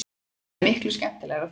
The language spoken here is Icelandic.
Það er miklu skemmtilegra þannig.